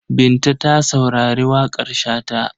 Binta ta saurari waƙar Shata.